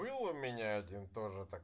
был у меня один тоже так